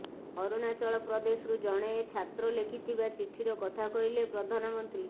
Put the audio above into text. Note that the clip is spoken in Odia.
ଅରୁଣାଚଳ ପ୍ରଦେଶରୁ ଜଣେ ଛାତ୍ର ଲେଖିଥିବା ଚିଠିର କଥା କହିଲେ ପ୍ରଧାନମନ୍ତ୍ରୀ